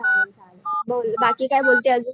चालेल चालेल बाकी काय बोलते अजून.